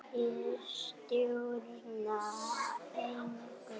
Ég stjórna engu.